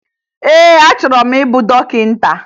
Ee, achọrọ m ịbụ dọkịta